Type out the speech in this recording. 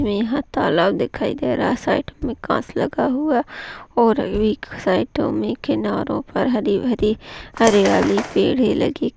यहा तालाब दिखायी दे रहा है साईट में काच लगा हुवा है और एक साईट में किनारो पर एक किनारे पर हरी भरी हरियाली पेड़ है लगे --